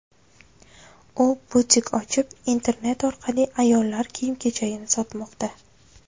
U butik ochib, internet orqali ayollar kiyim-kechagini sotmoqda.